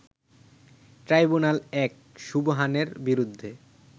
ট্রাইব্যুনাল-১ সুবহানের বিরুদ্ধে